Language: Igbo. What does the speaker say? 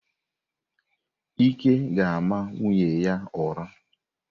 Ike ga-ama nwunye ya ụra.